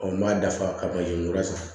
n b'a dafa ka manzin kura san